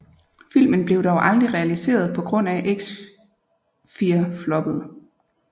Filmen blev dog aldrig realiseret på grund af Fear X floppede